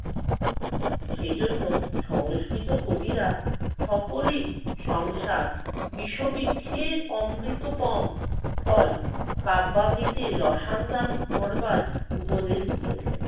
সেজন্য সংস্কৃত কবিরা সকলেই সংসার বিষবৃক্ষের অমৃতোপম ফল কাব্যামৃতের রসান্দর করবার উপদেশ দিয়েছেন।